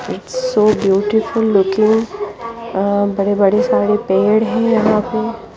एक सो दो टिफिन लिखे हुए है और बड़े सारे पेड़ है यहाँ पे।